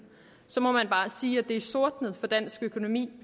må man bare sige at det er sortnet for dansk økonomi